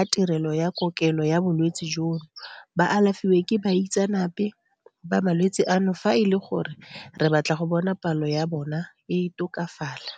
a tirelo ya kokelo ya bolwetse jono ba alafiwe ke baitseanape ba malwetse ano fa e le gore re batla go bona palo ya bona e tokafala.